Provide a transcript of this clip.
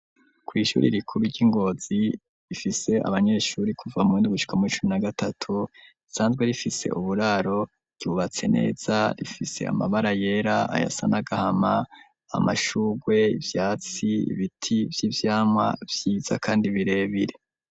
Ku ishure rikuru ry'Ingozi rifise abanyeshure kuva muhundi gushika muricumi na gatatu risanzwe rifise uburaro ryubatse neza rifise amabara yera ayasa n'agahama amashugwe ivyatsi ibiti vyivyamwa vyiza kandi birebire.